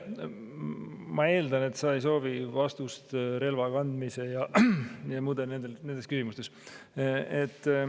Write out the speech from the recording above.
Ma eeldan, et sa ei soovi vastust relvakandmise ja nendele muudele küsimustele.